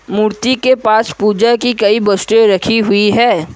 मूर्ति के पास पूजा की कई वस्तुएं रखी हुई है।